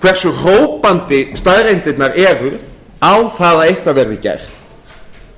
hversu hrópandi staðreyndirnar eru á það að eitthvað verði gert